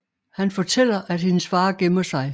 Han fortæller at hendes far gemmer sig